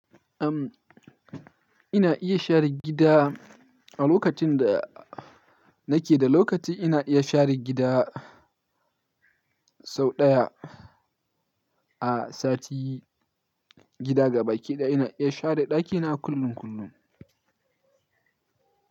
Umm, ina iya share gida a lokacin da nake da lokaci. Ina iya share gida sau ɗaya a sati. Gida gabaki ɗaya ina iya share ɗakina kullum kullum.